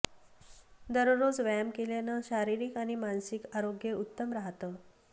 दररोज व्यायाम केल्यानं शारीरिक आणि मानसिक आरोग्य उत्तम राहतं